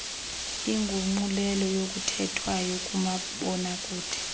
inguqulelo yokuthethwayo kumabonakude